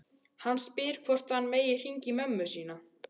Hann spyr hvort hann megi hringja í mömmu sína.